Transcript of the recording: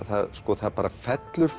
það það fellur